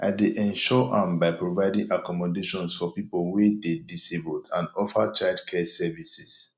i dey ensure am by providing accommodations for people wey dey disabled and offer childcare services